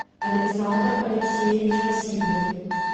александр алексеевич васильев